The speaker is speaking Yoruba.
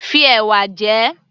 Fi ẹ̀wà jẹ ẹ́